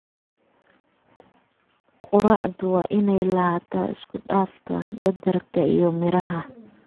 Quraacdu waa inay lahaataa isku dhafka badarka iyo miraha.